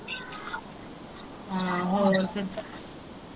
ਹਮ ਹੋਰ ਫਿਰ।